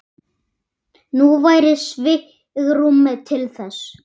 Nú væri svigrúm til þess.